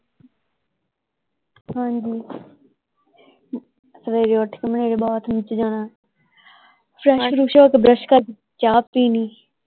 ਹਾਂਜੀ ਸਵੇਰੇ ਉੱਠ ਕੇ ਬਾਥਰੂਮ ਚ ਜਾਣਾ ਬੁਰਸ਼ ਕਰ ਚਾਹ ਪੀਣੀ।